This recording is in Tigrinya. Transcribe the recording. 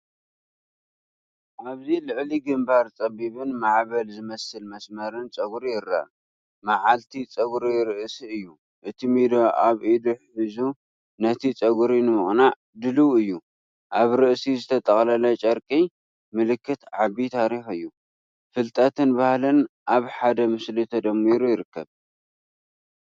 ኣብዚ ልዕሊ ግንባር ጸቢብን ማዕበል ዝመስልን መስመር ጸጉሪ ይርአ። መዓልቲ ጸጉሪ ርእሲ እዩ፤ እቲ ሚዶ ኣብ ኢዱ ሒዙ ነቲ ጸጉሪ ንምቕናዕ ድሉው እዩ። ኣብ ርእሲ ዝተጠቕለለ ጨርቂ ምልክት ዓቢታሪኽ እዩ፤ ፍልጠትን ባህልን ኣብ ሓደ ምስሊ ተደሚሩ ይርከብ።